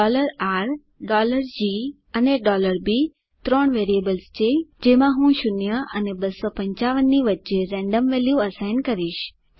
R G અને B ત્રણ variables છે જેમાં હું 0 અને 255 ની વચ્ચે રેન્ડમ વેલ્યુ અસાઇન કરીશ